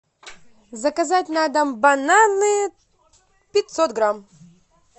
заказать на дом бананы пятьсот грамм